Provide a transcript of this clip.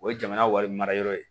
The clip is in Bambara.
O ye jamana wari mara yɔrɔ ye